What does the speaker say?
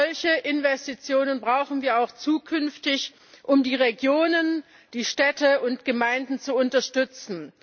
Solche Investitionen brauchen wir auch zukünftig, um die Regionen, Städte und Gemeinden zu unterstützen.